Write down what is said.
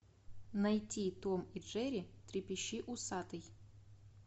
найти том и джерри трепещи усатый